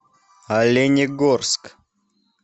оленегорск